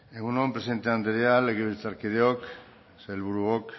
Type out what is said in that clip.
egun on presidente anderea legebiltzarkideok sailburuok